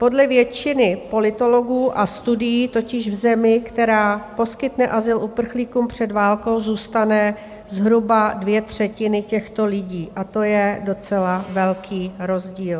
Podle většiny politologů a studií totiž v zemi, která poskytne azyl uprchlíkům před válkou, zůstane zhruba dvě třetiny těchto lidí, a to je docela velký rozdíl.